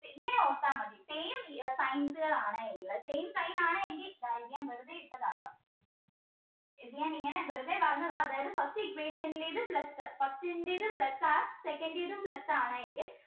ഇങ്ങനെ ഓർത്താൽ മതി same signs ആണ് ഉള്ളത് same sign ആണ് എങ്കിൽ വെറുതെ ഇട്ടതാട്ടോ ഇത് ഞാൻ ഇങ്ങനെ വെറുതെ പറഞ്ഞതാ അതായത് first equation ലേത് plus first ന്റേത് plus ആ second ന്റേതും plus ആണ് എങ്കിൽ